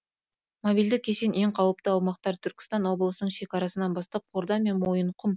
мобильді кешен ең қауіпті аумақтар түркістан облысының шекарасынан бастап қордай мен мойынқұм